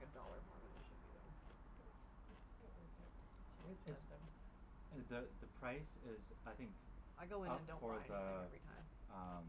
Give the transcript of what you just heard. a dollar more than it should be though. But it's it's still worth it. So It it's expensive. the the price is I think I go in up and don't for buy anything the every time. um